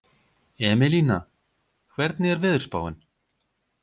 Emelína, hvernig er veðurspáin?